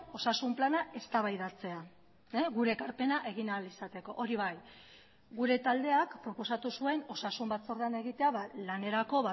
osasun plana eztabaidatzea gure ekarpena egin ahal izateko hori bai gure taldeak proposatu zuen osasun batzordean egitea lanerako